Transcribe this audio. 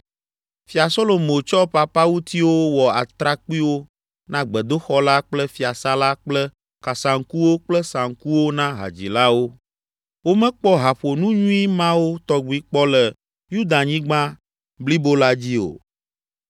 Fia Solomo tsɔ papawutiwo wɔ atrakpuiwo na gbedoxɔ la kple fiasã la kple kasaŋkuwo kple saŋkuwo na hadzilawo. Womekpɔ haƒonu nyui mawo tɔgbi kpɔ le Yudanyigba blibo la dzi o.